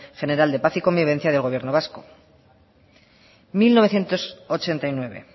general de paz y convivencia del gobierno vasco mil novecientos ochenta y nueve